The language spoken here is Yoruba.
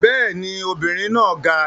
Bẹ́ẹ̀ ni, obìnrin náà ga